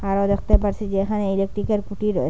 আরও দেখতে পারসি যে এখানে ইলেকট্রিক -এর খুঁটি রয়ে --